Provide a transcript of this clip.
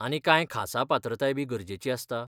आनी कांय खासा पात्रताय बी गरजेची आसता?